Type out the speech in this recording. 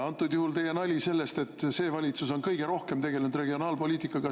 Antud juhul oli teil nali selle kohta, et see valitsus on kõige rohkem tegelenud regionaalpoliitikaga.